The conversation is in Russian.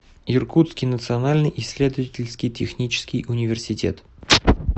иркутский национальный исследовательский технический университет